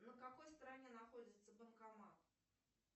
на какой стороне находится банкомат